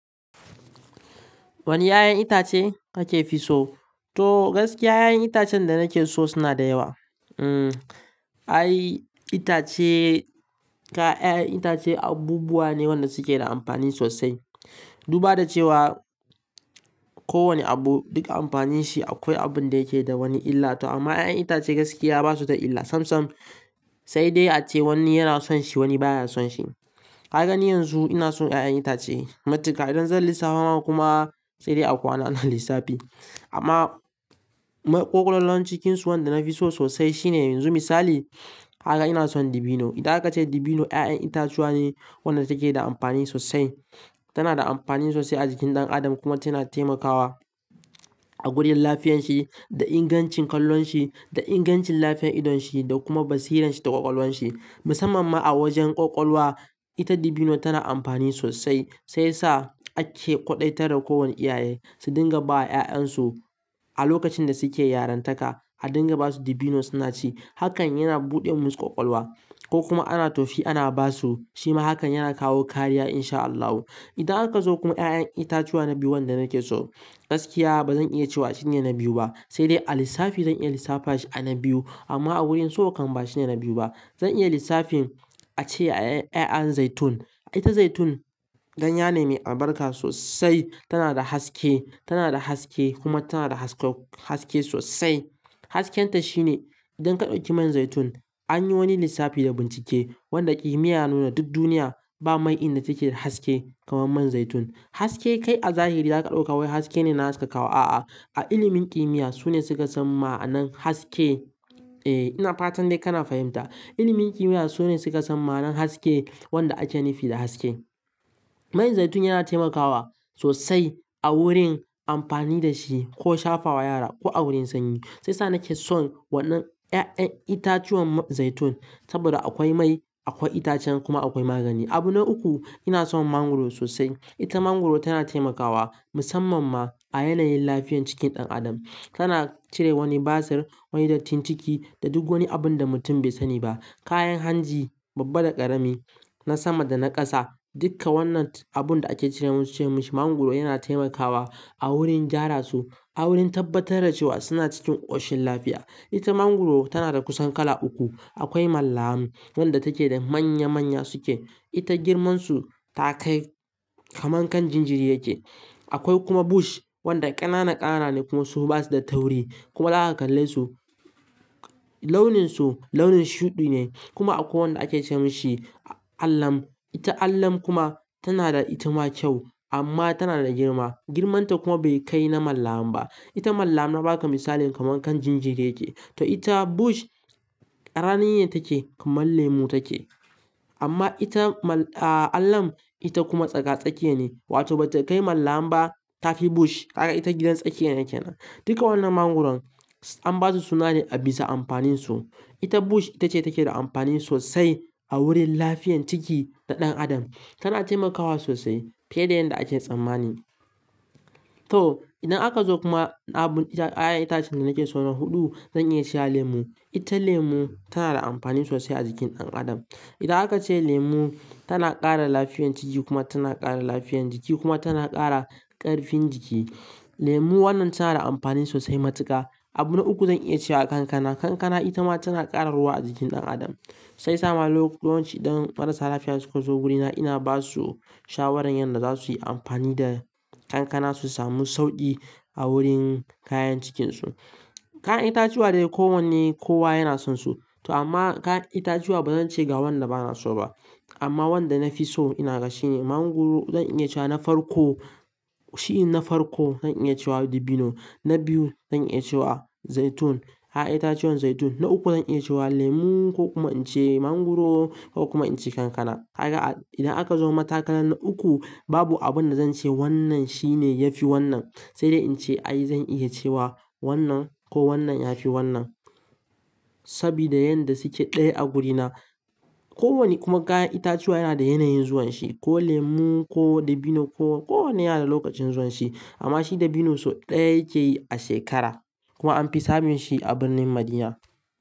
Wane 'ya'yan itace kakefi so? To gaskiya 'ya'yan itacen da nake so suna da yawa. Hmm, ai itace ka 'ya'yan itace abubuwa ne wanda suke da amfani sosai. Duba da cewa kowane abu duk amfani shi akwai abun da yake da wani illa. To amma 'ya'yan itace gaskiya basu da illa. Sam sam sai dai ace wani yana son shi wani baya son shi. Ka gani yanzu ina son 'ya'yan itace matuka. Idan zan lissafa ma kuma sai dai a kwana ana lissafi. Amma maƙwalalon cikinsu wanda nafi so sosai shine yanzu misali haka ina son dabino. Ida aka ce dabino 'ya'yan itacuwa ne wanda take da amfani sosai. Tana da amfani sosai a jikin ɗan adam kuma tana taimakawa a gurin lafiyan shi da ingancin kallon shi, da ingancin lafiyan idon shi da kuma basira shi da ƙwaƙwalwan shi. Musamman ma a wajen ƙwaƙwalwa, ita dabino tana amfani sosai. Sai sa ake ƙwaɗaitara ko wane iyaye su dinga ba wa 'ya'yan su a lokacin da suke yarantaka, a dinga basu dabino suna ci. Hakan yana buɗe musu ƙwaƙwalwa ko kuma ana tofi ana basu. Shi ma hakan yana kawo kariya in sha Allahu. Ida aka zo kuma 'ya'yan itacuwa na biyu wanda nake so, gaskiya bazan iya cewa shine na biyu ba. Sai dai a lissafi zan iya lissafa shi a na biyu. Amma a wurin so kan ba shine na biyu ba. Zan iya lissafin ace 'ya'yan zaitun. Ita zaitun, ganye ne mai albarka sosai. Tana da haske, tana da haske kuma tana da haske sosai. Hasken ta shine idan ka ɗauki man zaitun, an yi wani lissafi da bincike wanda kimiyya nuna duk duniya ba mai inda take da haske kamar man zaitun. Hasake kai a zahiri zaka ɗauka wai haske ne na haskaka wa a'a. A ilimin kimiyya sune suka san ma'anan haske. Eh ina fatan dai kana fahimta. Ilimin kimiyya sune suka san ma'anan haske wanda ake nufi da haske. Man zaitun yana taimakawa sosai a wurin amfani da shi ko shafa wa yara ko a wurin sanyi. Sai sa nake son wannan 'ya'yan itacuwan man zaitun saboda akwai mai, akwai itacen kuma akwai magani. Abu na uku ina son mangwaro sosai. Ita mangwaro tana taimakawa musamman ma a yanayin lafiyan cikin ɗan adam. Tana cire wani basir, wani dattin ciki da duk wani abun da mutum bai sani ba. Kayan hanji babba da ƙarami na sama da na ƙasa dukka wannan abun da ake cire musu ce musu mangwaro yana taimakawa a wurin gyara su, a wurin tabbatar da cewa suna cikin ƙoshin lafiya. Ita mangwaro tana da kusan kala uku. Akwai mallam wadda take da manya manya suke. Ita girmansu ta kai kamar kan jinjiri yake. Akwai kuma bush wanda ƙanana ƙanana ne kuma su basu da tauri. Kuma haka kallai su launin su launin shuɗi ne. Kuma akwai wanda ake ce mushi allam. Ita allam kuma tana da itama kyau amma tana da girma. Girmanta kuma bai kai na mallam ba. Ita mallam na baka misali kamar kan jinjiri yake. To ita bush ƙramine yake kamar lemu take. Amma ita mall-- aah allam ita kuma tsaka-tsake ne. Wato ba ta kai mallam ba taki bush haka ita gidan tsake yake nan. Dukkan wannan mangwaron an basu sunane a bisa amfanin su. Ita bush ita ce take da amfani sosai a wurin lafiyan ciki na ɗan adam. Tana taimakawa sosai fiye da yanda ake tsammani. To idan aka zo kuma abun ita 'ya'yan itacen da nake so na huɗu zan iya cewa lemu. Ita lemu tana da amfani sosai a jikin ɗan adam. Ida aka ce lemu tana ƙara lafiyan ciki kuma tana ƙara lafiyan jiki kuma tana ƙara ƙarfin jiki. Lemu wannan tana da amfani sosai matuka. Abu na uku zan iya cewa kankana. Kankana ita ma tana ƙara ruwa a jikin ɗan adam. Sai sa ma lokutancin ɗan marasa lafiya suka zo wurina ina basu shawarar yanda za su yi amfani da kankana su sami sauɗi a wurin kayan cikinsu. Kayan itacuwa dai ko wanne kowa yana sonsu. To amma kayan itacuwa bazan ce ga wanda bana so ba. Amma wanda nafi so ina ga shi ne mangwaro zan iya cewa na farko, shi na farko zan iya cewa dabino. Na biyu zan iya cewa zaitun, 'ya'yan itacuwan zaitun. Na uku zan iya cewa lemu ko kuma in ce mangwaro ko kuma in ce kankana. Haka idan aka zo matakalan na uku babu abun da zan ce wannan shine yafi wannan. Sai dai in ce ai zan iya cewa wannan ko wannan yafi wannan. Sabida yanda suke ɗaya a wurina. Ko wane kuma kayan itacuwa yana da yanayin zuwan shi. Ko lemu ko dabino ko ko wanne yana da lokacin zuwan shi. Amma shi dabino sau ɗaya yake yi a shekara. Kuma an fi samun shi a birnin Madina.